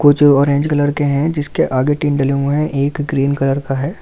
कुछ orange colour के है जिसके आगे टीन डले हुए हैं एक ग्रीन कलर का है एक लेडीज दिख रही--